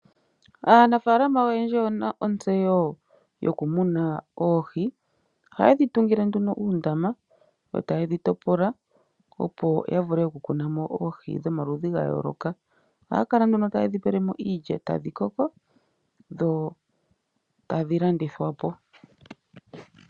Aanafalama oyendji oye na ontseyo yokumuna oohi oha ye dhi tungile nduno uundama yo taye dhi topola opo ya vule okukunamo oohi dhomaludhi ga yooloka oha ya kala nduno taye dhi pelemo iilya e tadhi koko dho tadhi landithwapo.